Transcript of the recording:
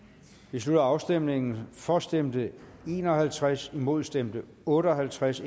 slutter afstemningen for ændringsforslaget stemte en og halvtreds imod stemte otte og halvtreds